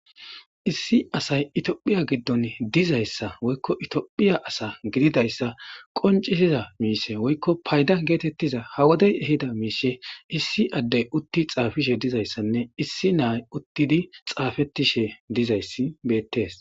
Issi asay toophphiya giddon dizayssa woykko toophphiya asa gididayssa qoncisiza miishe woykko payda geetettiza hawodey ehida miishe issi addey utti xaafishe dizayssanne issi naay uttidi xaafettishe dizayssi beettees.